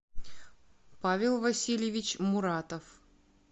павел васильевич муратов